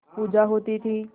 पूजा होती थी